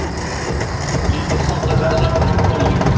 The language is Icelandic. Lítilsháttar verðlækkun á olíu